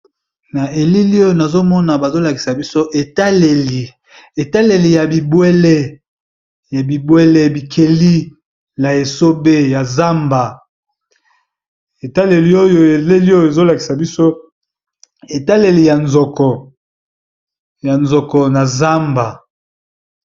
na elili oyo nazomona bazolakisa biso etaleli ya bibwele ya bibwele bikeli na esobe ya zamba etaleli oyo eleli oyo ezolakisa biso etaleli ya nzoko na zamba